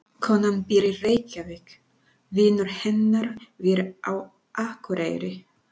Konan býr í Reykjavík. Vinur hennar býr á Akureyri.